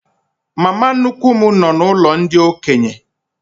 Mama nnukwu m nọ n'ụlọ ndị okenye.